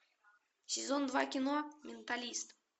сезон два кино менталист